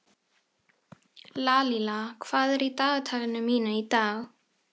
Lalíla, hvað er í dagatalinu mínu í dag?